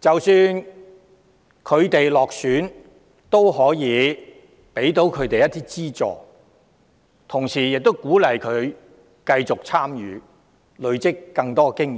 即使落選也可以給他們一點資助，同時可鼓勵他們繼續參與，累積更多經驗。